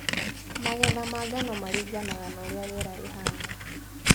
Magetha ma ngano maringanaga na ũrĩa riera rĩhana.